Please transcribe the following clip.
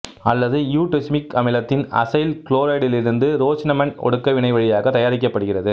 அல்லது இயுடெசுமிக் அமிலத்தின் அசைல் குளோரைடிலிருந்து ரோசினமண்டு ஒடுக்க வினை வழியாக தயாரிக்கப்படுகிறது